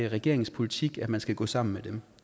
regeringens politik at man skal gå sammen med dem